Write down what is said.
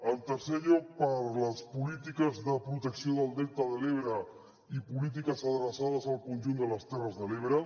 en tercer lloc per les polítiques de protecció del delta de l’ebre i polítiques adreçades al conjunt de les terres de l’ebre